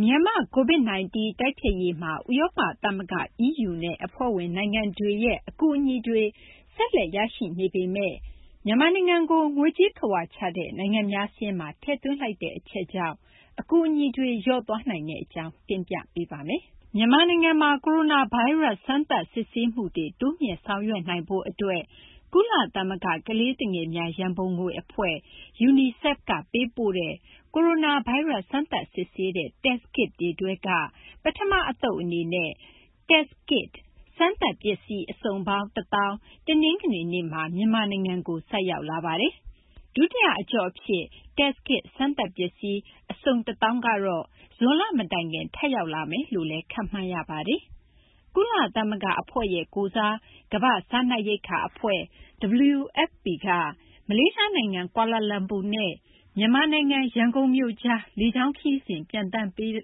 မြန်မာ့ COVID-19 တိုက်ဖျက်ရေးမှာ ဥရောပသမဂ္ဂ (EU) နဲ့ အဖွဲ့ဝင်နိုင်ငံတွေရဲ့ အကူအညီတွေ ဆက်လက်ရရှိနေပေမယ့် မြန်မာနိုင်ငံကို ငွေကြေးခဝါချတဲ့ နိုင်ငံများစာရင်းမှာ ထည့်သွင်းလိုက်တဲ့ အချက်ကြောင့် အကူအညီတွေ လျော့သွားနိုင်တဲ့အကြောင်း မသိင်္ဂီထိုက် စုစည်းတင်ပြထားပါတယ်။ မြန်မာနိုင်ငံမှာ ကိုရိုနာဗိုင်းရပ်စ် စမ်းသပ်စစ်ဆေးမှုတွေ တိုးမြှင့်ဆောင်ရွက်နိုင်ဖို့အတွက် ကုလသမဂ္ဂ ကလေးသူငယ်များ ရန်ပုံငွေအဖွဲ့ (UNICEF) က ပေးပို့တဲ့ ကိုရိုနာဗိုင်းရပ်စ် စမ်းသပ်စစ်ဆေးတဲ့ Test Kits တွေထဲက ပထမအသုတ်အနေနဲ့ Test Kit စမ်းသပ်ပစ္စည်း အစုံပေါင်း ၁၀,၀၀၀ တနင်္ဂနွေနေ့မှာ မြန်မာနိုင်ငံကို ဆိုက်ရောက်လာပါတယ်။ ဒုတိယအကျော့အဖြစ် Test Kit စမ်းသပ်ပစ္စည်း အစုံ ၁၀,၀၀၀ ကတော့ ဇွန်လမတိုင်ခင် ထပ်ရောက်မယ်လို့လည်း ခန့်မှန်းရပါတယ်။ ကုလသမဂ္ဂအဖွဲ့ကိုယ်စား ကမ္ဘာ့စားနပ်ရိက္ခာအဖွဲ့ (WFP) က မလေးရှားနိုင်ငံ ကွာလာလမ်ပူနဲ့ မြန်မာနိုင်ငံ ရန်ကုန်မြို့ကြား လေကြောင်းခရီးစဉ် ပျံသန်းပေးနေ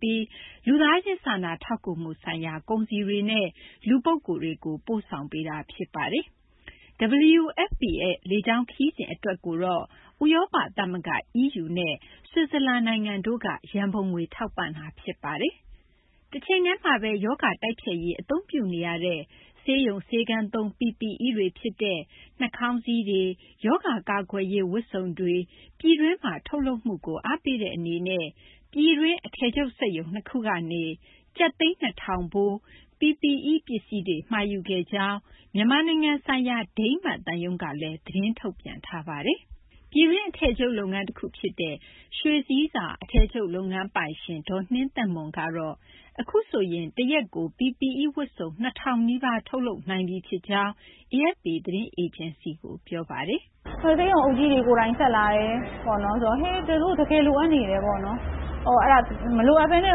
ပြီး လူသားချင်း စာနာထောက်ကူမှုဆိုင်ရာ ကုန်စည်တွေနဲ့ လူပုဂ္ဂိုလ်တွေကို ပို့ဆောင်ပေးနေတာ ဖြစ်ပါတယ်။ WFP ရဲ့ လေကြောင်းခရီးစဉ် အတွက်ကိုတော့ ဥရောပသမဂ္ဂ (EU) နဲ့ ဆွစ်ဇာလန်တို့က ရန်ပုံငွေ ထောက်ပံ့တာ ဖြစ်ပါတယ်။ တချိန်တည်းမှာပဲ ရောဂါတိုက်ဖျက်ရေး အသုံးပြုနေရတဲ့ ဆေးရုံဆေးခန်းသုံး PPE တွေဖြစ်တဲ့ နှာခေါင်းစည်းတွေ၊ ရောဂါကာကွယ်ရေး ဝတ်စုံတွေ ပြည်တွင်းမှာ ထုတ်လုပ်မှုကို အားပေးတဲ့အနေနဲ့ ပြည်တွင်း အထည်ချုပ်စက်ရုံ ၂ ခုကနေ ကျပ်သိန်း ၂,၀၀၀ ဖိုး PPE ပစ္စည်းတွေ မှာယူခဲ့ကြောင်း မြန်မာနိုင်ငံဆိုင်ရာ ဒိန်းမတ်သံရုံးကလည်း သတင်းထုတ်ပြန်ထားပါတယ်။ ပြည်တွင်း အထည်ချုပ်လုပ်ငန်းတခုဖြစ်တဲ့ ရွှေဆည်းဆာ အထည်ချုပ်လုပ်ငန်းပိုင်ရှင် ဒေါ်နှင်းသက်မွန်ကတော့ အခုဆိုရင် တရက်ကို PPE ဝတ်စုံ ၂,၀၀၀ နီးပါး ထုတ်လုပ်နိုင်လာပြီဖြစ်ကြောင်း AFP သတင်းအေဂျင်စီကို ပြောပါတယ်။ “ဆေးရုံအုပ်ကြီးတွေကိုယ်တိုင် ဆက်လာတယ်၊ တကယ်လိုအပ်နေတယ်ပေါ့နော်။ မလိုအပ်ဘဲနဲ့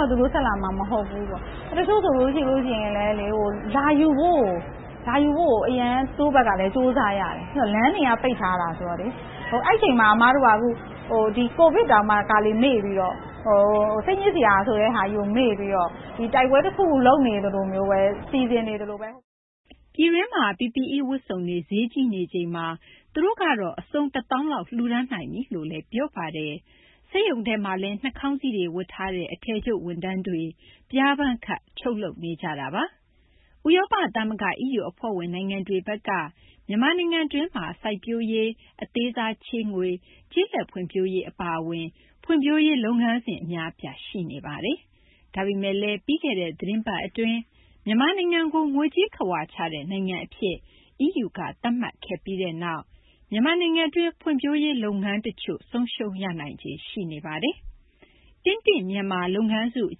တော့ သူတို့ ဆက်လာမှာမဟုတ်ဘူး။ တချို့ဆိုရင် လာယူဖို့ကို သူတို့ဘက်ကလည်း ကြိုးစားရတယ်။ လမ်းတွေက ပိတ်ထားတာ ဆိုတော့လေ။ ကျမတို့က COVID တောင်မှ တခါတလေ မေ့ပြီးတော့ စိတ်ညစ်စရာဆိုတာကို မေ့ပြီးတော့ တိုက်ပွဲတခု လုပ်နေသလိုမျိုးပဲ၊ စီစဉ်နေသလိုပဲ။” ပြည်တွင်းမှာ PPE ဝတ်စုံတွေ ဈေးကြီးနေချိန်မှာ သူတို့ကတော့ အစုံ ၁၀,၀၀၀ လောက် လှူဒါန်းနိုင်ပြီလို့လည်း ပြောပါတယ်။ စက်ရုံထဲမှာလည်း နှာခေါင်းစည်းတွေ ဝတ်ထားတဲ့ အထည်ချုပ်ဝန်ထမ်းတွေ ပျားပန်းခပ် ချုပ်လုပ်နေကြတာပါ။ ဥရောပသမဂ္ဂ (EU) အဖွဲ့ဝင် နိုင်ငံတွေဘက်က မြန်မာနိုင်ငံတွင်းမှာ စိုက်ပျိုးရေး၊ အသေးစားချေးငွေ၊ ကျေးလက်ဖွံ့ဖြိုးရေး အပါအဝင် ဖွံ့ဖြိုးရေးလုပ်ငန်းစဉ် အများအပြား ရှိနေတာပါ။ ဒါပေမယ့်လည်း ပြီးခဲ့တဲ့ သီတင်းပတ် အတွင်းမှာပဲ မြန်မာနိုင်ငံကို ငွေကြေးခဝါချတဲ့ နိုင်ငံအဖြစ် EU က သတ်မှတ်ခဲ့ပြီးနောက် EU အဖွ့ဲဝင် နိုင်ငံတွေရဲ့ မြန်မာနိုင်ငံတွင်း ဖွံ့ဖြိုးရေးလုပ်ငန်းတချို့ ဆုံးရှုံးရနိုင်ခြေ ရှိနေပါတယ်။ တင့်တင့်မြန်မာလုပ်ငန်းစု အ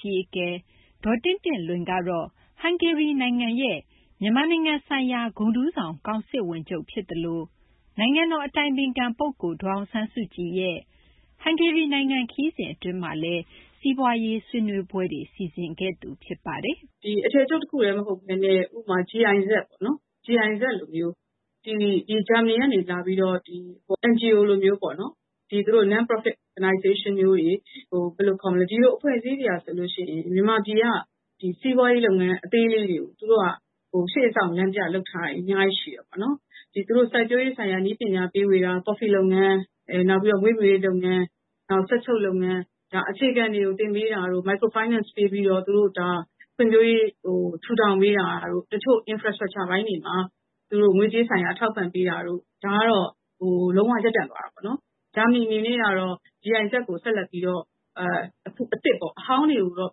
ကြီးအကဲ ဒေါ်တင့်တင့်လွင်ကတော့ ဟန်ဂေရီနိုင်ငံရဲ့ မြန်မာနိုင်ငံဆိုင်ရာ ဂုဏ်ထူးဆောင် ကောင်စစ်ဝန်ချုပ်ဖြစ်သလို နိုင်ငံတော်အတိုင်ပင်ခံပုဂ္ဂိုလ် ဒေါ်အောင်ဆန်းစုကြည်ရဲ့ ဟန်ဂေရီနိုင်ငံခရီးစဉ် အတွင်းမှာလည်း စီးပွားရေး ဆွေးနွေးပွဲတွေ စီစဉ်ခဲ့သူ ဖြစ်ပါတယ်။ “အထည်ချုပ်တခုတည်း မဟုတ်ဘဲနဲ့ ဥပမာ GIZ ပေါ့နော်၊ ဂျာမနီက NGO အဖွဲ့မျိုး၊ ဒီလိုအဖွဲ့တွေဟာဆိုရင် မြန်မာပြည်က စီးပွားရေးလုပ်ငန်း အသေးလေးတွေကို ရှေ့ဆောင်လမ်းပြလုပ်ထားတာ အများကြီးရှိပါတယ်။ စိုက်ပျိုးရေးဆိုင်ရာ နည်းပညာ ဖြန့်ဝေတာ၊ ကော်ဖီလုပ်ငန်း၊ မွေးမြူရေးလုပ်ငန်း၊ စက်ချုပ်လုပ်ငန်း၊ အခြေခံတွေ သင်ပေးတာ၊ အသေးစားချေးငွေပေးပြီး သူတို့ ဖွံ့ဖြိုးရေး ထူထောင်ပေးတာတို့၊ တချို့ အခြေခံအဆောက်အဦပိုင်းတွေမှာ ငွေကြေးဆိုင်ရာ ထောက်ပံ့ပေးတာတို့ ဒါကတော့ လုံး၀ ရပ်တန့်သွားတာပေါ့နော်။ ဂျာမနီအနေနဲ့တော့ GIZ ကို ဆက်လက်ပြီးတော့ အသစ်ပေါ့၊ အဟောင်းတွေတော့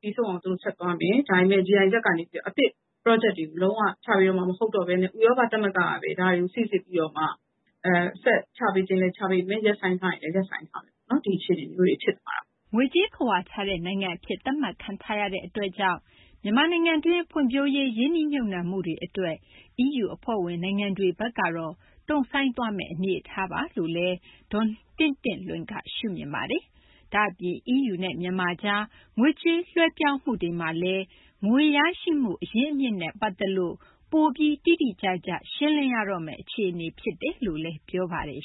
ပြီးဆုံးအောင် ဆက်သွားမယ်၊ ဒါပေမယ့် GIZ ကနေ စီမံကိန်းအသစ်တွေ လုံး၀ ချပေးတော့မှာ မဟုတ်တော့ဘဲနဲ့ ဥရောပသမဂ္ဂကပဲ ဒါတွေကို စိစစ်ပြီးတော့မှ ချပေးချင်လည်း ချပေးမယ်၊ ရပ်ဆိုင်းချင်လည်း ရပ်ဆိုင်းမယ်။ ဒီအခြေအနေမျိုးတွေ ဖြစ်သွားတာပေါ့။” ငွေကြေးခဝါချတဲ့နိုင်ငံအဖြစ် သတ်မှတ်ခံထားရတဲ့ အတွက်ကြောင့် မြန်မာနိုင်ငံတွင်းမှာ ဖွံ့ဖြိုးရေး၊ ရင်းနှီးမြှုပ်နှံမှုတွေအတွက် EU အဖွဲ့ဝင် နိုင်ငံတွေဘက်ကတော့ တုံ့ဆိုင်းသွားမယ့် အနေအထားပါလို့လည်း ဒေါ်တင့်တင့်လွင်က ရှုမြင်ပါတယ်။ ဒါ့အပြင် EU နဲ့ မြန်မာကြား ငွေကြေး လွှဲပြောင်းမှုတွေမှာလည်း ငွေရရှိမှု အရင်းအမြစ်နဲ့ ပတ်သက်ပြီး ပိုပြီး တိတိကျကျ ရှင်းလင်းရတော့မယ့် အခြေအနေ ဖြစ်တယ်လို့လည်း ပြောပါတယ်